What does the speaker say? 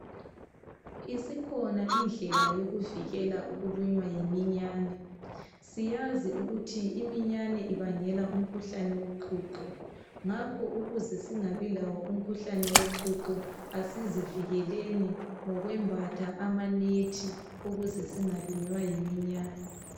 Isikhona indlela yokuvikela ukulunywa yiminyane. Siyazi ukuthi iminyane ibangela umkhuhlane woqhuqho ngakho ukuze singabilawo umkhuhlane woqhuqho, asizivikeleni ngokwembatha amanethi ukuze singalunywa yiminyane.